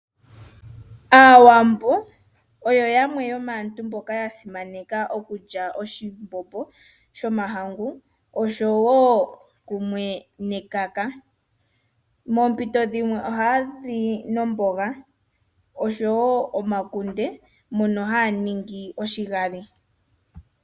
Aawambo oyo yamwe yomaantu mboka ya simaneka okulya oshimbombo shomahangu oshowo kumwe nekaka moompito dhimwe ohaya li nomboga oshowo omakunde mono haya ningi oshigali.